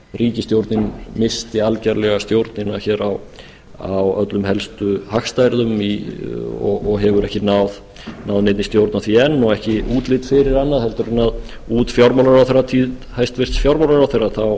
ríkisstjórnin missti algerlega stjórnina á öllum helstu hagstærðum og hefur ekki náð neinni stjórn á því enn og ekki útlit fyrir annað heldur en út fjármálaráðherratíð hæstvirtur fjármálaráðherra